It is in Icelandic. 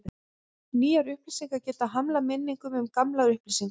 Nýjar upplýsingar geta hamlað minningum um gamlar upplýsingar.